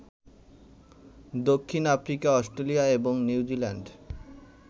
দক্ষিণ Africa, Australia এবং New Zealand